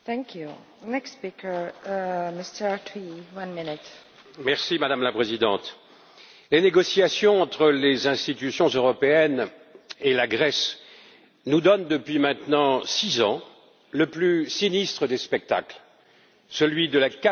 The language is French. Madame la Présidente, les négociations entre les institutions européennes et la Grèce nous donnent, depuis maintenant six ans, le plus sinistre des spectacles celui de la cavalerie financière et de l'incapacité à trancher.